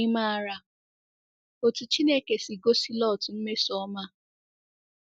Ị̀ maara otú Chineke si gosi Lọt mmesoọma?